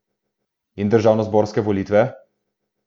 In državnozborske volitve?